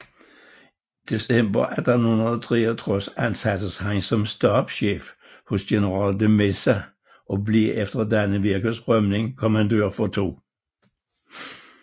December 1863 ansattes han som stabschef hos general de Meza og blev efter Dannevirkes rømning kommandør for 2